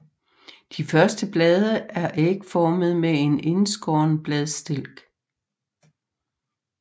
De første blade er ægformede med en indskåren bladstilk